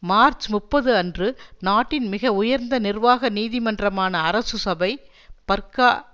March முப்பது அன்று நாட்டின் மிக உயர்ந்த நிர்வாக நீதிமன்றமான அரசு சபை பர்க்கா